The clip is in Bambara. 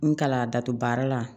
N kalan dato baara la